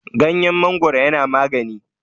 ganyen mangoro yana magani